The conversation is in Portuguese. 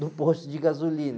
do posto de gasolina.